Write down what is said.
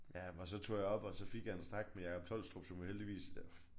Ja men og så tog jeg op og så fik jeg en snak med Jakob Tolstrup som jo heldigvis er